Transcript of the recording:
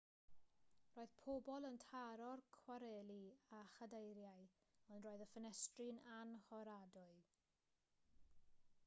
roedd pobl yn taro'r cwareli â chadeiriau ond roedd y ffenestri'n annhoradwy